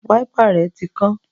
Wáípà rẹ̀ tí kán